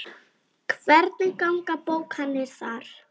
Hvernig ganga bókanir þar?